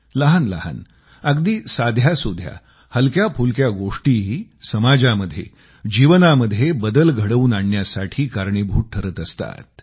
लहानलहान अगदी साध्यासुध्या हलक्याफुलक्या गोष्टीही समाजामध्ये जीवनामध्ये बदल घडवून आणण्यासाठी कारणीभूत ठरत असतात